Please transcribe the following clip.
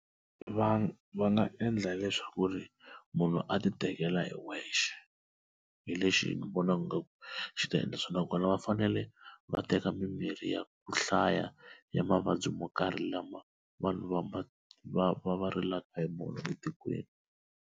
Va va nga endla leswaku ri munhu a ti tekela hi wexe hi lexi ni vonaku ngaku xi ta endla swona nakona va fanele va teka mimirhi ya ku hlaya ya mavabyi mo karhi lama vanhu va va va va va rilaka hi mona etikweni.